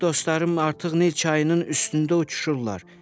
Mənim dostlarım artıq Nil çayının üstündə uçuşurlar.